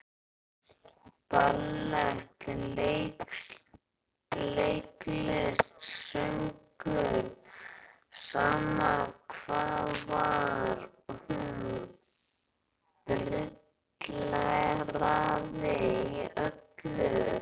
Ballett, leiklist, söngur, sama hvað var, hún brilleraði í öllu.